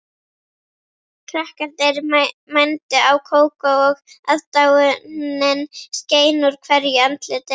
Krakkarnir mændu á Kókó og aðdáunin skein úr hverju andliti.